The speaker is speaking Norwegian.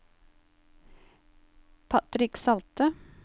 Patrick Salte